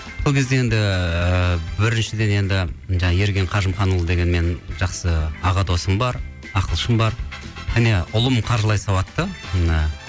сол кезде енді біріншіден енді жаңа ерген қажымұқанұлы деген менің жақсы аға досым бар ақылшым бар және ұлым қаржылай сауатты ммм